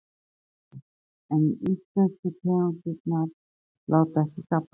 Magnús Hlynur: En íslensku tegundirnar láta ekki gabba sig?